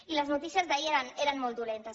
i les notícies d’ahir eren molt dolentes